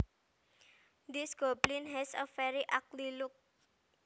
This goblin has a very ugly look